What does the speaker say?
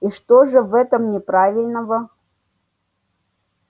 и что же в этом неправильного